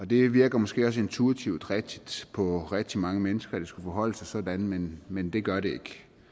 det virker måske også intuitivt rigtigt på rigtig mange mennesker at det skulle forholde sig sådan men men det gør det ikke